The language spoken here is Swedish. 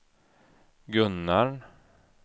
Gunnarn